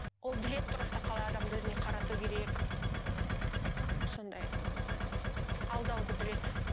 ол біледі просто қалай адамды өзіне қарату керек сондай ыыы алдауды біледі